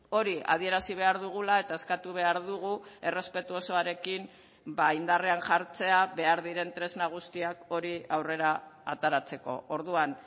hori adierazi behar dugula eta eskatu behar dugu errespetu osoarekin indarrean jartzea behar diren tresna guztiak hori aurrera ateratzeko orduan